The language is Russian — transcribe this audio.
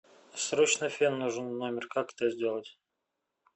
срочно фен нужен в номер как это сделать